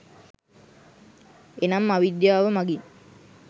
එනම් අවිද්‍යාව මඟින්